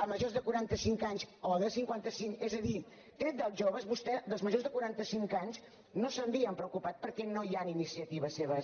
a majors de quaranta cinc anys o de cinquanta cinc és a dir tret dels joves vostès dels majors de quaranta cinc anys no se n’havien preocupat perquè no hi han iniciatives seves